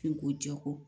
F'i ko jɛ ko